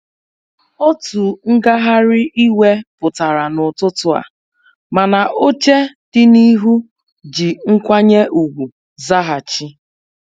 Otu ngagharị iwe pụtara n'ụtụtụ a, mana oche dị n'ihu ji nkwanye ugwu zaghachi.